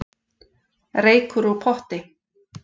Reykur úr potti